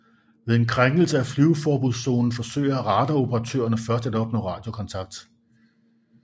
Ved en krænkelse af flyveforbudszonen forsøger radaroperatørerne først at opnå radiokontakt